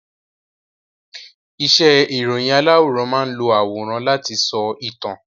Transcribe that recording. Iṣẹ́ ìròyìn aláwòrán máán lo àwòrán láti sọ ìtàn